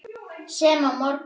Sem á morgun.